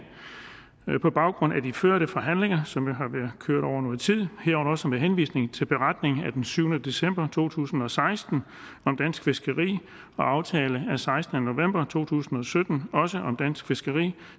på baggrund af de førte forhandlinger som har været kørt over noget tid herunder også med henvisning til beretning af syvende december to tusind og seksten om dansk fiskeri og aftale af sekstende november to tusind og sytten også om dansk fiskeri